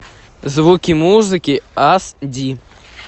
звуки музыки ас ди